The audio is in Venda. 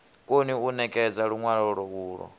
koni u ṋekedza luṅwalo ulwo